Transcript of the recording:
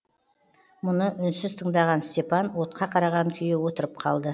мұны үнсіз тыңдаған степан отқа қараған күйі отырып қалды